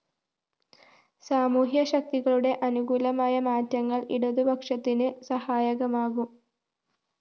സാമൂഹ്യശക്തികളുടെ അനുകൂലമായ മാറ്റങ്ങള്‍ ഇടതുപക്ഷത്തിന്‌ സഹായകമാകും